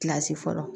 Kilasi fɔlɔ